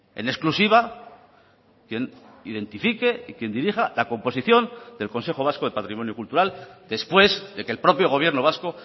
en exclusiva quien identifique y quien dirija la composición del consejo vasco de patrimonio cultural después de que el propio gobierno vasco